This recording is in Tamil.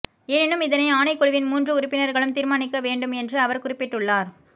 எனினும் இதனை ஆணைக்குழுவின் மூன்று உறுப்பினர்களும் தீர்மானிக்கவேண்டும் என்று அவர் குறிப்பிட்டுள்ளார்